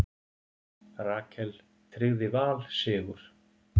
Rakel tryggði Val sigur